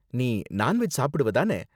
நீ non veg சாப்பிடுவ தானே?